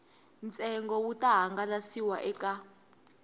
ntsengo wu ta hangalasiwa eka